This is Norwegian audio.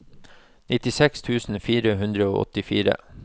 nittiseks tusen fire hundre og åttifire